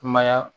Kumaya